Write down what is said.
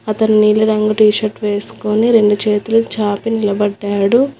అతని నీలి రంగు టీషర్ట్ వేసుకొని రెండు చేతులు చాపి నిలబడ్డాడు.